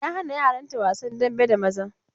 Ya hana yaran ta wasan dambe da maza.